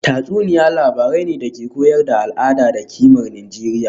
Tatsuniya labarai ne da ke koyar da al’ada da kimar Nijeriya